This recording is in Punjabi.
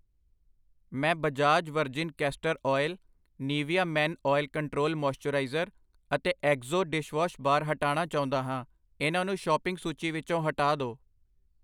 ਮੈਂ Bajaj virgin castor oil, Nivea men oil control moisturiser ਅਤੇ ਏਕਸੋ ਡਿਸ਼ਵਾਸ਼ ਬਾਰ ਹਟਾਨਾ ਚਾਉਂਦਾ ਹਾਂ, ਇਹਨਾਂ ਨੂੰ ਸ਼ੋਪਿੰਗ ਸੂਚੀ ਵਿੱਚੋ ਹਟਾ ਦੋ I